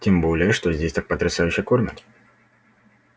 тем более что здесь так потрясающе кормят